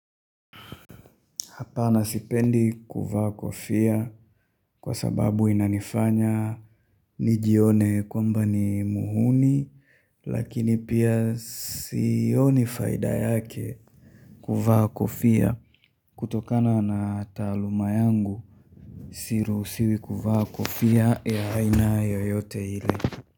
Hapana sipendi kuvaa kofia kwa sababu inanifanya nijione kwamba ni muhuni lakini pia sioni faida yake kuvaa kofia kutokana na taaluma yangu siruhusiwi kuvaa kofia ya aina yoyote ile.